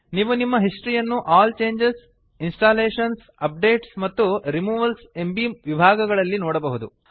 ನೀವು ನಿಮ್ಮ ಹಿಸ್ಟರಿಯನ್ನು ಆಲ್ ಚೇಂಜಸ್ ಇನ್ಸ್ಟಾಲೇಷನ್ಸ್ ಅಪ್ಡೇಟ್ಸ್ ಮತ್ತು ರಿಮೂವಲ್ಸ್ ಎಂಬೀ ವಿಭಾಗಗಳಲ್ಲಿ ನೋಡಬಹುದು